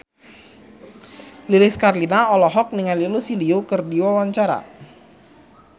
Lilis Karlina olohok ningali Lucy Liu keur diwawancara